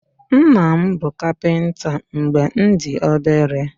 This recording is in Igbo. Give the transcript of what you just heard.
Nna m bụ kapịnta mgbe m dị obere